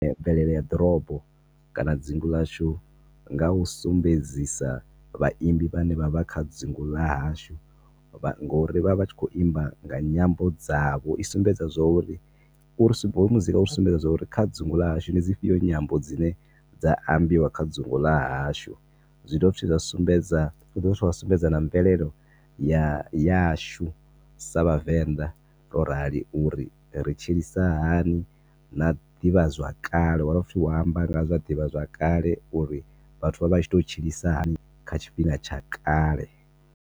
Mvelele ya ḓorobo kana dzingu ḽashu nga u sumbedzisa vha imbi vha ne vha vha kha dzingu ḽa hashu ngo uri vha vha vha tshi khou imba nga nyambo dzavho. I sumbedza zwa uri, uri sumbe, hoyo muzika u ri sumbedza zwo uri kha dzungu ḽa hashu ndi dzifhio dzi nyambo dzine dza ambiwa kha dzungu ḽa hashu, zwi do vha futhi zwa sumbedza na mvelelo yashu sa vhavenda ro rali uri ri tshilisa hani na ḓivha zwa kale, u amba nga zwa ḓivha zwa kale uri vhathu vho vha vha tshi to tshilisa hani kha tshifhinga tsha kale.